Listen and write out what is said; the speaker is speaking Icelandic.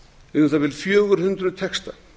um það bil fjögur hundruð texta